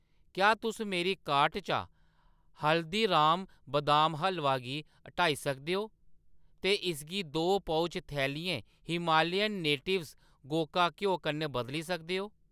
क्या तुस मेरी कार्ट चा हल्दीराम बदाम हलवा गी हटाई सकदे ओ ते इसगी दो पउच, थैलियें हिमालयन नेटिव्ज़ गोका घ्यो कन्नै बदली सकदे ओ।